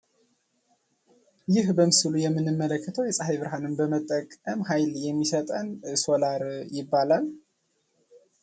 ይህ በምስሉ ላይ የምንመለከተው የፀሐይ ብርሃንን በመጠቀም ኃይል የማሰጠን ሶላር ይባላል።